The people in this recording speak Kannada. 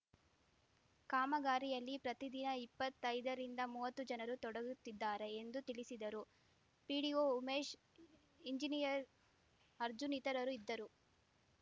ಕಾಮಗಾರಿಯಲ್ಲಿ ಪ್ರತಿದಿನ ಇಪ್ಪತ್ತೈದರಿಂದ ಮುವ್ವತ್ತು ಜನರು ತೊಡಗುತ್ತಿದ್ದಾರೆ ಎಂದು ತಿಳಿಸಿದರು ಪಿಡಿಒ ಉಮೇಶ್‌ ಎಂಜನೀಯರ್‌ ಅರ್ಜುನ್‌ ಇತರರು ಇದ್ದರು